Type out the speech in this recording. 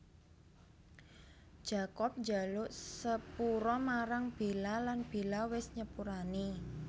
Jacob njaluk sepura marang Bella lan Bella wis nyepurani